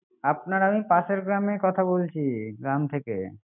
আপনার আমি পাশের গ্রামে কথা বলছি গ্রাম থেকে